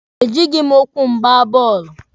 E jịghị m ụkwụ m gbaa bọọlụ.